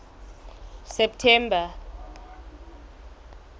september